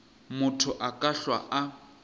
motho a ka hlwa a